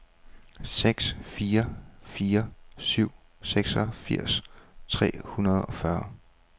seks fire fire syv seksogfirs tre hundrede og fyrre